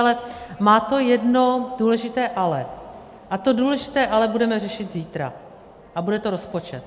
Ale má to jedno důležité ale, a to důležité ale budeme řešit zítra a bude to rozpočet.